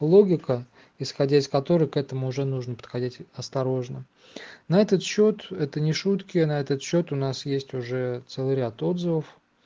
логика исходя из которой к этому уже нужно подходить осторожно на этот счёт это не шутки на этот счёт у нас есть уже целый ряд отзывов